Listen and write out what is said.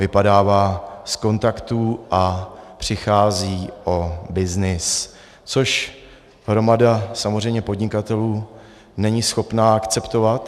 Vypadává z kontaktů a přichází o byznys, což hromada samozřejmě podnikatelů není schopna akceptovat.